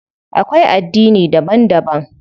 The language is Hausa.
Akwai addini daban daban.